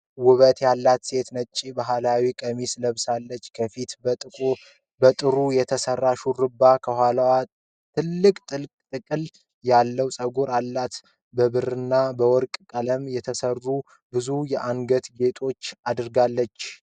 ውበት ያላት ሴት ነጭ ባህላዊ ቀሚስ ለብሳለች። ከፊት በጥሩ የተሰራ ሹሩባና ከኋላ ትልቅ ጥቅል ያለው ፀጉር አላት። በብርና በወርቅ ቀለም የተሠሩ ብዙ የአንገት ጌጦች አድርጋለች።